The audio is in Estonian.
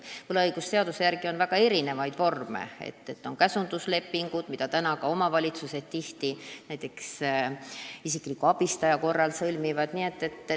Võlaõigusseadus võimaldab väga erinevaid vorme, on näiteks käsunduslepingud, mida omavalitsused isikliku abistaja korral tihti sõlmivad.